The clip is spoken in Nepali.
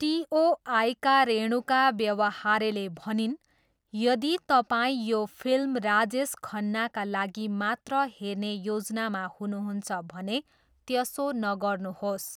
टिओआईका रेणुका व्यवहारेले भनिन्, ''यदि तपाईँ यो फिल्म राजेश खन्नाका लागि मात्र हेर्ने योजनामा हुनुहुन्छ भने, त्यसो नगर्नुहोस्''।